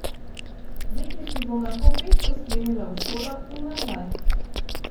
Deklici bom lahko peš pospremila v šolo in nazaj.